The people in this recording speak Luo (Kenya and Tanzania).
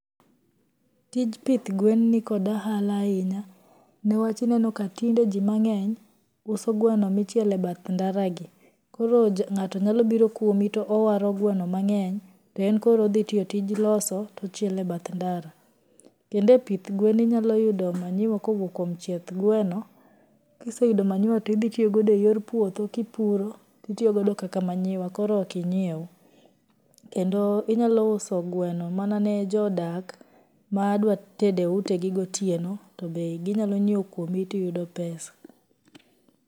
Tij pith gwen ni kod ohala ahinya, niwach aneno ka tinde jii mang'eny, uso gweno ma ichielo e bath ndaragi, koro ng'ato nyalobiro kwomi to owaro gweno mang'eny to en koro odhitiyo tij loso to ochielo e bath ndara, kendo e pith gwen inyaloyudo manure kowuok kwom chieth gweno, kiseyudo manure to idhii itiyogodo e yor puodho kipuro to itiyogodo kaka manure to koro okinyiew, kendo inyalouso gweno mana ne jodak ma dwatedo e utegi gotieno to be ginyalonyieo kwomi to iyudo pesa.